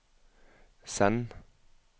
send